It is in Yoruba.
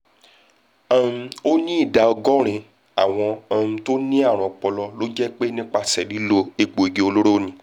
um ó ní ìdá ọgọ́rin àwọn um tó ní àrùn ọpọlọ ló jẹ́ pé nípasẹ̀ lílo egbòogi olóró ni